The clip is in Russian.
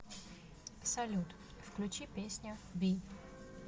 салют включи песня би